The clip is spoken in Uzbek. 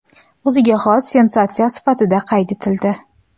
o‘ziga xos sensatsiya sifatida qayd etildi.